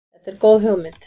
Þetta er góð hugmynd.